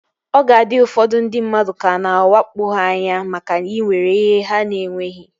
Ọ ga-adị ụfọdụ ndị mmadụ ka a na-awakpo ha anya makana ị nwere ihe ha na-enweghị